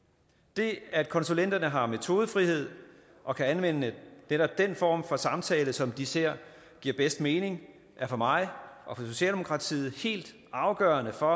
det at konsulenterne har metodefrihed og kan anvende netop den form for samtale som de ser giver bedst mening er for mig og for socialdemokratiet helt afgørende for